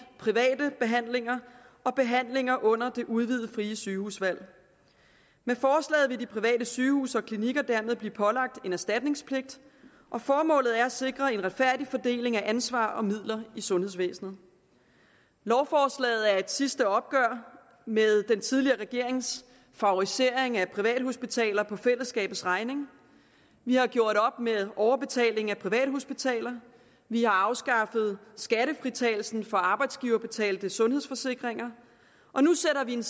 private behandlinger og behandlinger under det udvidede frie sygehusvalg med forslaget vil de private sygehuse og klinikker dermed blive pålagt en erstatningspligt og formålet er at sikre en retfærdig fordeling af ansvar og midler i sundhedsvæsenet lovforslaget er et sidste opgør med den tidligere regerings favorisering af privathospitaler på fællesskabets regning vi har gjort op med overbetaling til privathospitaler vi har afskaffet skattefritagelsen for arbejdsgiverbetalte sundhedsforsikringer og nu sætter vi en